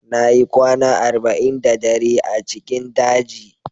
Na yi kwana arba'in da dare a cikin daji